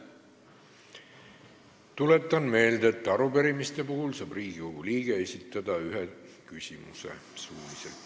Tuletan meelde, et arupärimiste puhul saab iga Riigikogu liige esitada suuliselt ühe küsimuse.